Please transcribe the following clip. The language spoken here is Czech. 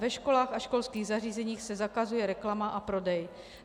Ve školách a školských zařízeních se zakazuje reklama a prodej.